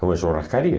para uma churrascaria.